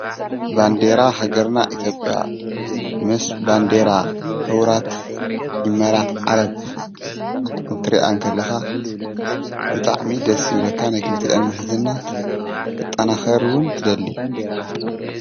ባንዴራ ሃገርና ኢቶብያ ምስ ባንዴራ ኅዉራት ይመራት ዓረብ እንትሪያ እንከለኻ ብጣዕሚ ደስ ይብለካ ናይ ክልቲኤን ምሕዝናት ኽጠናኸርውን ትደሊ